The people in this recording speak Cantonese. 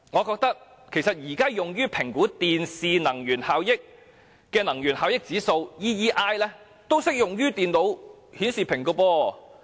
現時用於評核電視機的能源效益指數，其實同樣適用於電腦顯示屏。